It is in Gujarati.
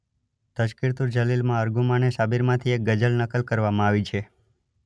તઝકિરતુલ જલીલમાં અરમુગાને સાબિરમાંથી એક ગઝલ નકલ કરવામાં આવી છે.